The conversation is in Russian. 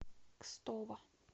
кстово